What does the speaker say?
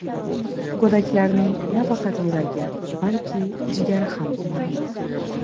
Go‘daklarning nafaqat yuragi, balki jigari ham umumiy.